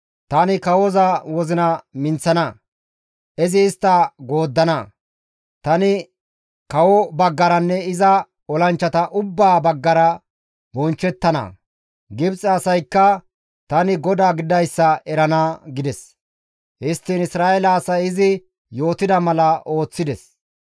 Tani kawoza wozina minththana; izi istta gooddana; tani kawoza baggaranne iza olanchchata ubbaa baggara bonchchettana; Gibxe asaykka tani GODAA gididayssa erana» gides. Histtiin Isra7eele asay izi yootida mala ooththides.